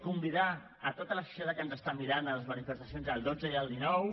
convidar tota la societat que ens mira a les manifestacions del dotze i del dinou